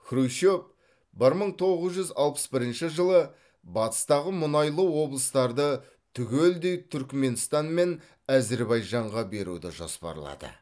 хрущев бір мың тоғыз жүз алпыс бірінші жылы батыстағы мұнайлы облыстарды түгелдей түркіменстан мен әзірбайжанға беруді жоспарлады